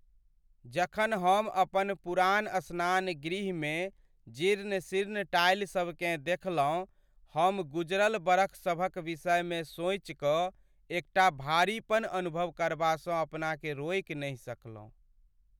जखन हम अपन पुरान स्नानगृहमे जीर्ण शीर्ण टाइलसबकेँ देखलहुँ, हम गुजरल बरखसभक विषयमे सोचिकऽ एकटा भारीपन अनुभव करबासँ अपनाकेँ रोकि नहि सकलहुँ।